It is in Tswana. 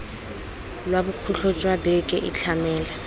lwa bokhutlo jwa beke itlhamele